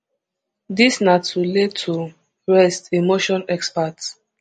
dis na to lay to rest a motion exparte